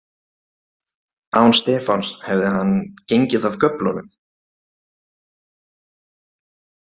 Án Stefáns hefði hann gengið af göflunum.